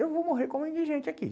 Eu vou morrer como indigente aqui.